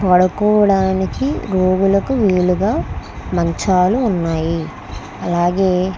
పడుకోడానికి రోగులకు వీలుగా మంచాలు ఉన్నాయి అలాగే --